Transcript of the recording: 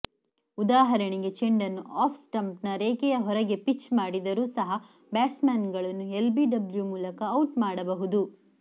ಉದಾಹರಣೆಗೆ ಚೆಂಡನ್ನು ಆಫ್ ಸ್ಟಂಪ್ನ ರೇಖೆಯ ಹೊರಗೆ ಪಿಚ್ ಮಾಡಿದರೂ ಸಹ ಬ್ಯಾಟ್ಸ್ಮನ್ಗಳನ್ನು ಎಲ್ಬಿಡಬ್ಲ್ಯೂ ಮೂಲಕ ಔಟ್ ಮಾಡಬಹುದು